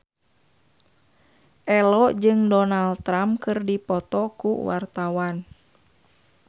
Ello jeung Donald Trump keur dipoto ku wartawan